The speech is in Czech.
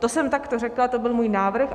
To jsem takto řekla, to byl můj návrh.